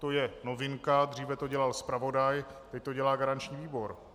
To je novinka, dříve to dělal zpravodaj, teď to dělá garanční výbor.